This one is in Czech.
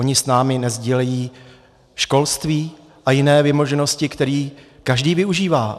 Oni s námi nesdílejí školství a jiné vymoženosti, které každý využívá?